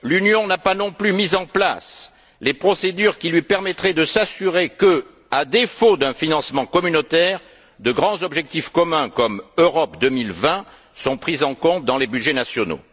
L'Union n'a pas non plus mis en place les procédures qui lui permettraient de s'assurer que, à défaut d'un financement communautaire, de grands objectifs communs comme Europe 2020 sont pris en compte dans les budgets nationaux.